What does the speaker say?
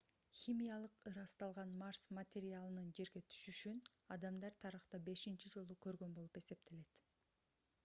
химиялык ырасталган марс материалынын жерге түшүшүн адамдар тарыхта бешинчи жолу көргөн болуп эсептелет